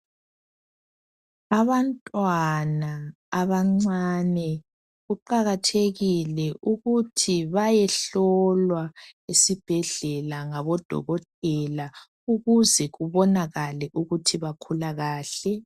Abantwana abancane kuqakathekile ukuthi bayehlolwa esibhedlela ngabodokotela ukuze kubonakale ukuthi bakhula kahle .